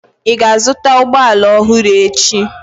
Ị ga-azụta ụgbọ ala ọhụrụ echi?